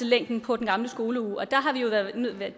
længden på den gamle skoleuge